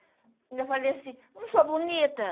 Ainda falei assim, não sou bonita?